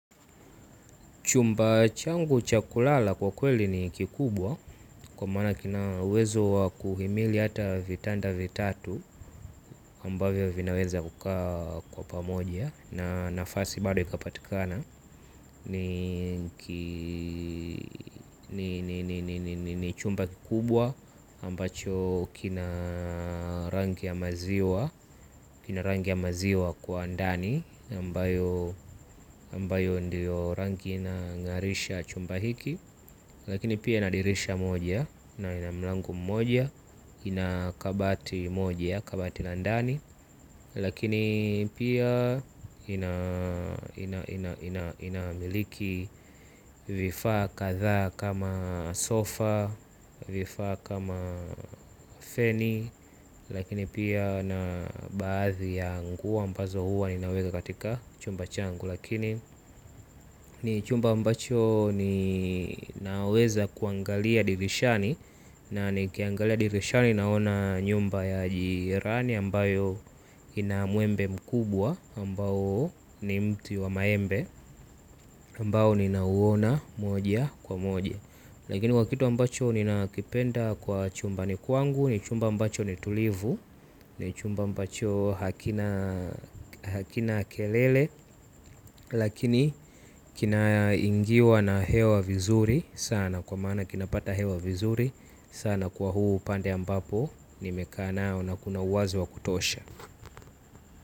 Chumba changu cha kulala kwa kweli ni kikubwa kwa maana kina uwezo wa kuhimili hata vitanda vitatu ambavyo vinaweza kukaa kwa pamoja na nafasi bado ikapatikana ni ni chumba kikubwa ambacho kina kina rangi ya maziwa kwa ndani ambayo ndiyo rangi inang'arisha chumba hiki. Lakini pia ina dirisha moja na ina mlango mmoja ina kabati moja kabati la ndani. Lakini pia inamiliki vifaa kadhaa kama sofa vifaa kama feni. Lakini pia na baadhi ya nguo ambazo huwa ninaweka katika chumba changu. Lakini ni chumba ambacho ninaweza kuangalia dirishani. Na nikiangalia dirishani naona nyumba ya jirani ambayo ina mwembe mkubwa ambao ni mti wa maembe ambao ninauona moja kwa moja. Lakini wa kitu ambacho ninakipenda kwa chumbani kwangu ni chumba ambacho ni tulivu. Ni chumba ambacho hakina kelele. Lakini kinaingiwa na hewa vizuri sana. Kwa maana kinapata hewa vizuri sana kwa huu upande ambapo nimekaa nao na kuna uwazi wa kutosha.